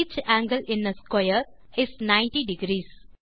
each angle in a square is ninety degrees